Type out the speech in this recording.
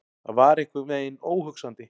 Það var einhvern veginn óhugsandi.